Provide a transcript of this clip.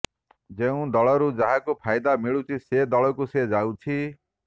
ଯେଉଁ ଦଳରୁ ଯାହାକୁ ଫାଇଦା ମିଳୁଛି ସେ ଦଳକୁ ସେ ଯାଉଛି